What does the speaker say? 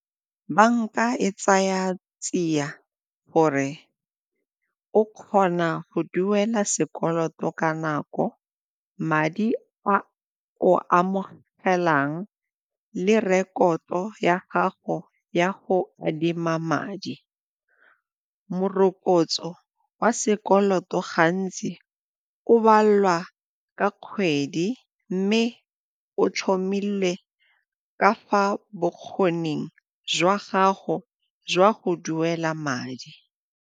Banka e tsaya tsia gore o kgona go duela sekoloto ka nako, madi a o amogelang le rekoto ya gago ya go adima madi. Morokotso wa sekoloto gantsi o balwa ka kgwedi mme o tlhomile ka fa bokgoning jwa gago jwa go duela madi.